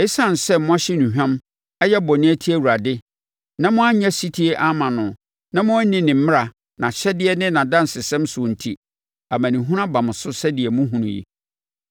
Esiane sɛ moahye nnuhwam, ayɛ bɔne atia Awurade, na moannyɛ ɔsetie amma no, na moanni ne mmara, nʼahyɛdeɛ ne nʼadansesɛm soɔ enti, amanehunu aba mo so sɛdeɛ mohunu yi.”